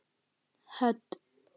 Hödd